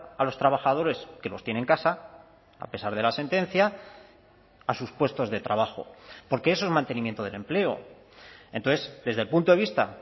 a los trabajadores que los tiene en casa a pesar de la sentencia a sus puestos de trabajo porque eso es mantenimiento del empleo entonces desde el punto de vista